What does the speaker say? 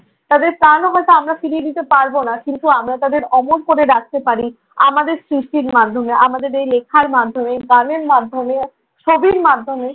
তাদের প্রাণও হয়তো আমরা ফিরিয়ে দিতে পারব না। কিন্তু আমরা তাদের অমর করে রাখতে পারি আমাদের সৃষ্টির মাধ্যমে, আমাদের এই লেখার মাধ্যমে, গানের মাধ্যমে, ছবির মাধ্যমে,